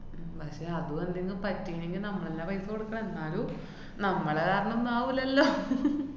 ഉം പക്ഷെ അതും എന്തെങ്ങും പറ്റീണ്ടെങ്കി നമ്മളെല്ലാ paisa കൊടുക്കണെ, എന്നാലും നമ്മള് കാരണം ഒന്നാവൂല്ലല്ലൊ.